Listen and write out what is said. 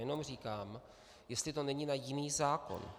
Jenom říkám, jestli to není na jiný zákon.